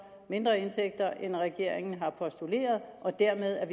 mindre indtægter end regeringen har postuleret og derved